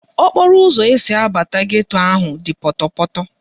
Okporoụzọ esi abata geto ahụ dị pọtọpọtọ